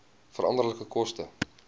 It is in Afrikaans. veranderlike koste